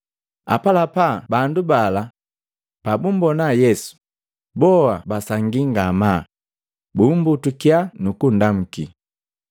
Apalapa bandu bala pabumbona Yesu boa basangii ngamaa, bummbutukya nukundamu.